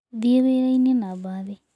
Thiĩ wĩra-inĩ na mbathi.